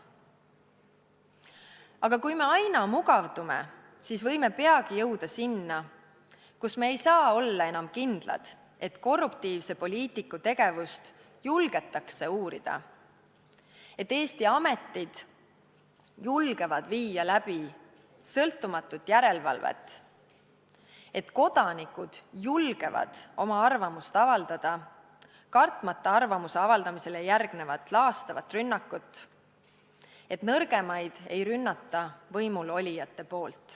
Aga kui me aina mugavdume, siis võime peagi jõuda sinna, kus me ei saa olla enam kindlad, et korruptiivse poliitiku tegevust julgetakse uurida, et Eesti ametid julgevad viia läbi sõltumatut järelevalvet, et kodanikud julgevad oma arvamust avaldada, kartmata arvamuse avaldamisele järgnevat laastavat rünnakut, et nõrgemaid ei ründa võimulolijad.